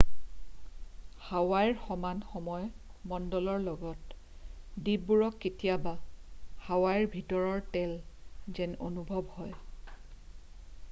"হাৱাইৰ সমান সময় মণ্ডলৰ লগত দ্বীপবোৰক কেতিয়াবা "হাৱাইৰ ভিতৰৰ তল" যেন অনুভৱ হয়।""